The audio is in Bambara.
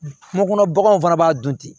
Kungo kɔnɔ baganw fana b'a dun ten